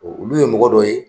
O Olu ye mɔgɔ dɔ ye